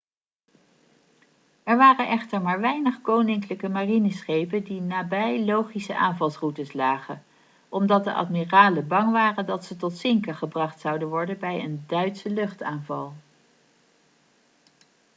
er waren echter maar weinig koninklijke marineschepen die nabij logische aanvalsroutes lagen omdat de admiralen bang waren dat ze tot zinken gebracht zouden worden bij een duitse luchtaanval